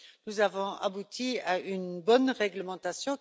Nous avons abouti à une bonne réglementation.